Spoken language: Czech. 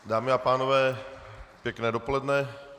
Dámy a pánové, pěkné dopoledne.